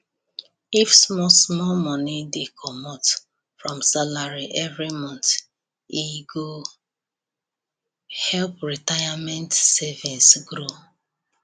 if small small money dey commot from salary every month end e go help retirement savings grow